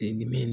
dimi